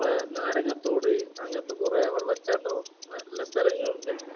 നമ്മടെ നാരങ്ങത്തോട് അങ്ങിനത്തെ കൊറേ വെള്ളച്ചാട്ടവും നല്ല സ്ഥലങ്ങളുണ്ട്